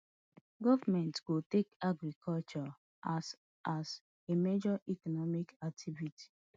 goment go take agriculture as as a major economic activity